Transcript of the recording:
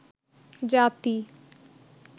জাতি